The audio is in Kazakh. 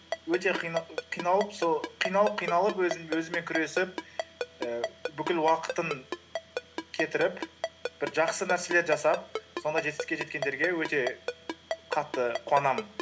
өте қиналып сол қиналып қиналып өзімен күресіп ііі бүкіл уақытын кетіріп бір жақсы нәрселер жасап сонда жетістікке жеткендерге өте қатты қуанамын